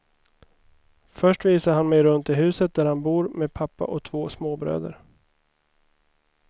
Först visar han mig runt i huset där han bor med pappa och två småbröder.